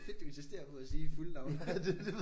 Du insisterer på at sige fulde navn